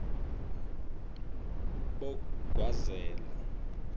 bogwazela